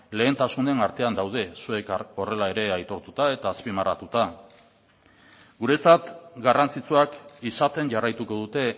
lehentasunen artean daude zuek ere horrela aitortuta eta azpimarratuta guretzat garrantzitsuak izaten jarraituko dute